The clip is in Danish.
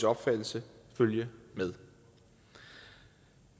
opfattelse følge med